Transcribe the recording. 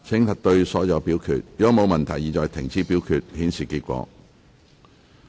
如果沒有問題，現在停止表決，顯示結果。